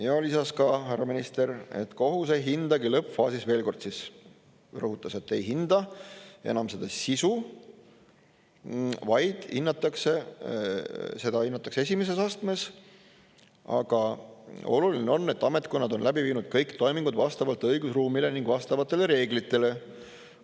Ja lisas ka härra minister, et kohus ei hindagi lõppfaasis – veel kord rõhutas –, ei hinda enam seda sisu, vaid seda hinnatakse esimeses astmes, aga oluline on, et ametkonnad on läbi viinud kõik toimingud vastavalt õigusruumile ning vastavatele reeglitele.